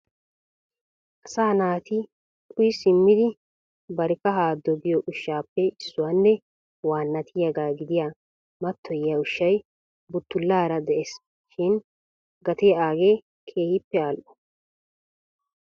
asaa naati uyyi simmidi bari kahaa doggiyo ushshappe issuwanne waanatiyaaga gidiyaa matoyiyya ushshay buttulaara de'ees shin gatee aage keehippe al''o.